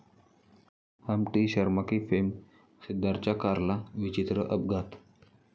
Humpty Sharma की...'फेम सिद्धार्थच्या कारला विचित्र अपघात